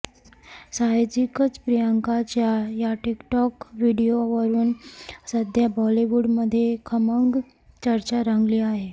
साहजिकच प्रियंकाच्या या टिक टॉक व्हिडीओवरून सध्या बॉलिवूडमध्ये खमंग चर्चा रंगली आहे